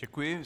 Děkuji.